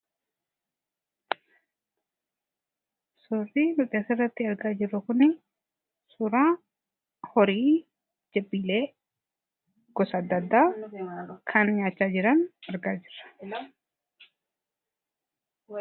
Suurri nuti asirratti argaa jirru kun suuraa horii, jabbiilee gosa adda addaa kan nyaachaa jiran argaa jirra.